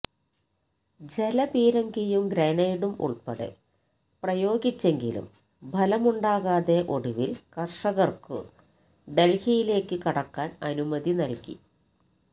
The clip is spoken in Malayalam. ജലപീരങ്കിയും ഗ്രനേഡും ഉൾപ്പെടെ പ്രയോഗിച്ചെങ്കിലും ഫലമുണ്ടാകാതെ ഒടുവിൽ കർഷകർക്കു ഡൽഹിയിലേക്കു കടക്കാൻ അനുമതി നൽകി